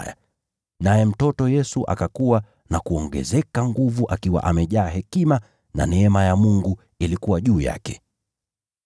Naye yule mtoto akakua na kuongezeka nguvu, akiwa amejaa hekima, na neema ya Mungu ilikuwa juu yake.